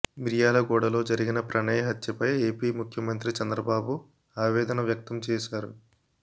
మిర్యాలగూడలో జరిగిన ప్రణయ్ హత్యపై ఏపీ ముఖ్యమంత్రి చంద్రబాబు ఆవేదన వ్యక్తం చేశారు